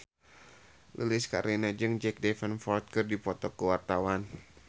Lilis Karlina jeung Jack Davenport keur dipoto ku wartawan